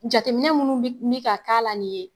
Jateminɛ munnu bi mi ka k'a la nin ye